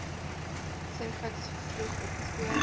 serviks vroeg opgespoor